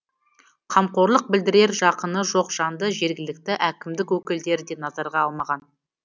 қамқорлық білдірер жақыны жоқ жанды жергілікті әкімдік өкілдері де назарға алмаған